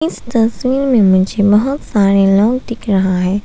इस तस्वीर में मुझे बहुत सारे लोग दिख रहा है।